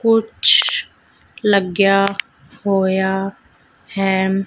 ਕੁਛ ਲੱਗਿਆ ਹੋਇਆ ਹੈ।